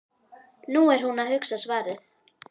Nú er hún að hugsa svarið.